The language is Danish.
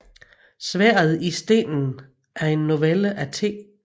Sværdet i stenen er en novelle af T